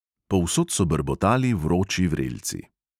Povsod so brbotali vroči vrelci.